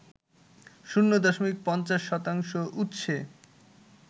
শূণ্য দশমিক ৫০ শতাংশ উৎসে